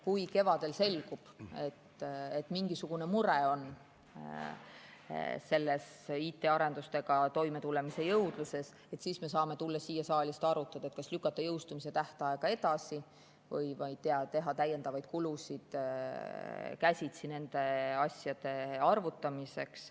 Kui kevadel selgub, et mingisugune mure on IT‑arendustega toimetulemise jõudluses, siis me saame tulla siia saali ja arutada, kas lükata jõustumistähtaega edasi või teha täiendavaid kulutusi nende asjade käsitsi arvutamiseks.